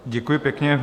Děkuji pěkně.